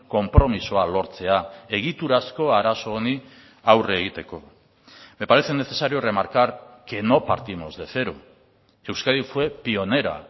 konpromisoa lortzea egiturazko arazo honi aurre egiteko me parece necesario remarcar que no partimos de cero que euskadi fue pionera